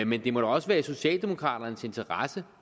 men det må da også være i socialdemokraternes interesse